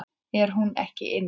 Er hún ekki inni?